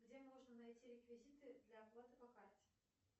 где можно найти реквизиты для оплаты по карте